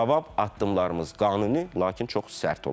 Cavab addımlarımız qanuni, lakin çox sərt olacaq.